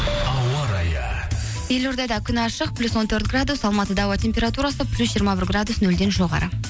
ауа райы елордада күн ашық плюс он төрт градус алматыда ауа температурасы плюс жиырма бір градус нөлден жоғары